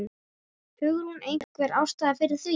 Hugrún: Einhver ástæða fyrir því?